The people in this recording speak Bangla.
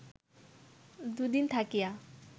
দুদিন থাকিয়া